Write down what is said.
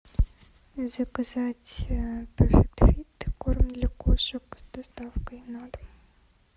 заказать перфект фит корм для кошек с доставкой на дом